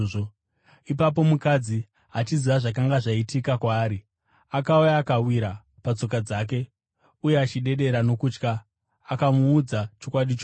Ipapo mukadzi, achiziva zvakanga zvaitika kwaari, akauya akawira patsoka dzake, uye achidedera nokutya, akamuudza chokwadi chose.